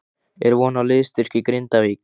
Er von á liðsstyrk í Grindavík?